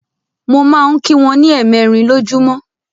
Mo máa ń kí wọn ní ẹ̀mẹẹ̀rin lọjúmọ́.